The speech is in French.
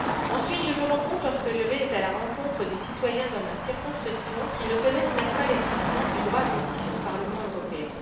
Ensuite, je me rends compte, lorsque je vais à la rencontre des citoyens dans ma circonscription, qu'ils ne connaissent même pas l'existence du droit à déposer pétition auprès du Parlement européen.